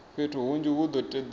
fhethu hunzhi hu do todea